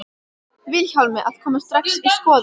Vilhjálmi að koma strax í skoðun.